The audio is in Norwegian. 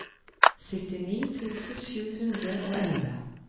syttini tusen sju hundre og elleve